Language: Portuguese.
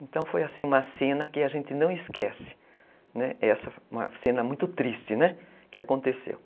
Então foi assim uma cena que a gente não esquece, né, essa, uma cena muito triste, né, que aconteceu.